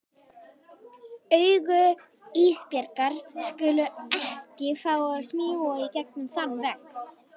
Augu Ísbjargar skulu ekki fá að smjúga í gegnum þann vegg.